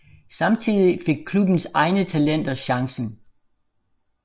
Samtidig fik klubbens egne talenter chancen